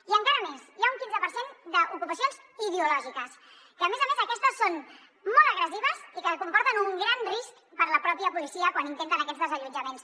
i encara més hi ha un quinze per cent d’ocupacions ideològiques que a més a més aquestes són molt agressives i que comporten un gran risc per a la pròpia policia quan intenten aquests desallotjaments